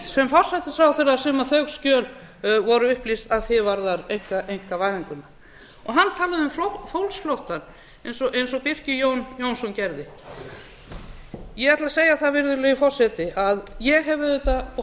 sem forsætisráðherra sem þau skjöl voru upplýst að því er varðar einkavæðinguna hann talaði um fólksflóttann eins og birkir jón jónsson gerði ég ætla að segja það virðulegi forseti að ég hef auðvitað